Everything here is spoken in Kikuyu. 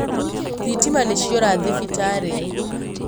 Thitima nĩciora thibitarĩ